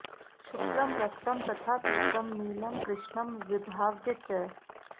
शुक्लं रक्तं तथा पीतं नीलं कृष्णं विभाव्य च